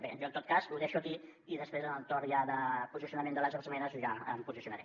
bé jo en tot cas ho deixo aquí i després en el torn de posicionament de les esmenes ja em posicionaré